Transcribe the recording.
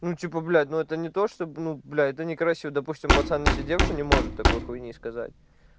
ну типа блядь но это не то что ну блядь это некрасиво допустим пацан не сидевший не может такой хуйни сказать